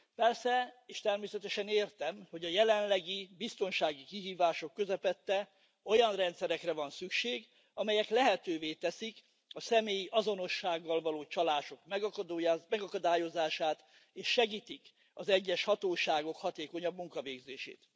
Persze, és természetesen értem, hogy a jelenlegi biztonsági kihívások közepette olyan rendszerekre van szükség, amelyek lehetővé teszik a személyi azonossággal való csalások megakadályozását és segítik az egyes hatóságok hatékonyabb munkavégzését.